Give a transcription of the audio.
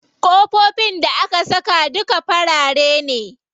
Ƙofofin da aka saka duka farare ne.